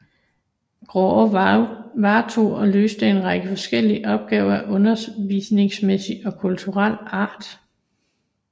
Graae varetog og løste en række forskellige opgaver af undervisningsmæssig og kulturel art